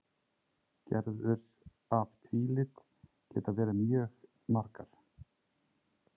Gerðir af tvílit geta verið mjög margar.